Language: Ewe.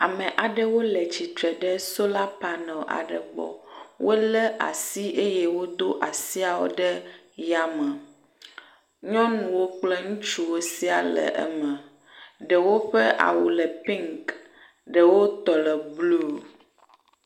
Ame aɖewo le tsitre ɖe sola paneli aɖe gbɔ wolé asi eye wodo asiawo ɖe ya me. Nyɔnuwo kple ŋutsuwo siaa le eme, ɖewo ƒe awu le piŋki ɖewo le blu.